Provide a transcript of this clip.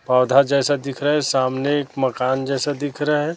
पौधा जैसा दिख रहा है सामने एक मकान जैसा दिख रहा है।